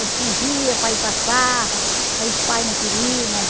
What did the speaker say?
Ele fugia para ir para as farra, aí os pai não queriam, né?